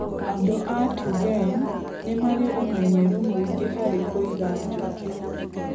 Andũ a Tugen nĩ marĩ ũmenyeru mũingĩ harĩ kũiga njũkĩ.